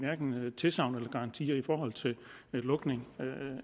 tilsagn eller garanti i forhold til lukning